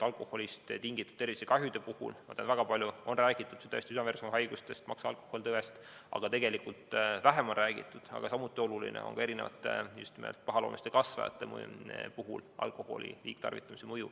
Alkoholist tingitud tervisekahjude puhul, ma tean, on väga palju räägitud tõesti südame-veresoonkonnahaigustest, maksa alkoholtõvest, aga tegelikult vähem on räägitud, aga see on samuti oluline, alkoholi liigtarvitamise mõjust pahaloomuliste kasvajate puhul.